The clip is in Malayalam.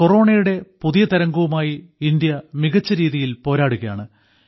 കൊറോണയുടെ പുതിയ തരംഗവുമായി ഇന്ത്യ മികച്ച രീതിയിൽപോരാടുകയാണ്